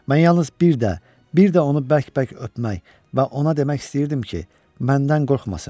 Mən yalnız bir də, bir də onu bərk-bərk öpmək və ona demək istəyirdim ki, məndən qorxmasın.